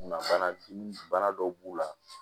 Na bana ju bana dɔw b'u la